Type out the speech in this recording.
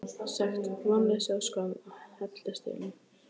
Sekt, vonleysi og skömm helltist yfir mig.